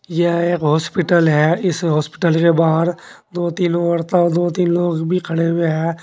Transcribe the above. यह एक हॉस्पिटल है इस हॉस्पिटल के बाहर दो तीन औरता दो तीन लोग भी खड़े हुए हैं।